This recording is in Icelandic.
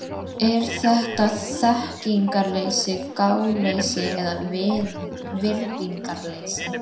Er þetta þekkingarleysi, gáleysi eða virðingarleysi?